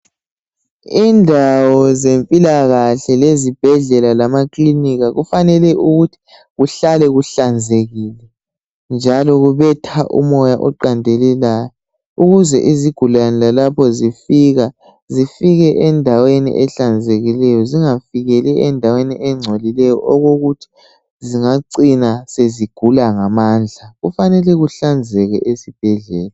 Indawo zempilakahle lezibhedlela lamakilinika kufanele ukuthi kuhlale kuhlanzekile njalo kubetha umoya oqandelelayo ukuze izigulane lalapho zifika zifike endaweni ehlanzekileyo zingafikeli endaweni engcolileyo okokuthi zingacina sezigula ngamamndla kufanele kuhlanzeke ezibhedlela.